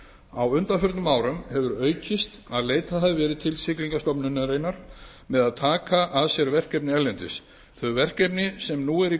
á undanförnum árum hefur aukist að leitað hafi verið til siglingastofnunar með að taka að sér verkefni erlendis þau verkefni sem nú eru í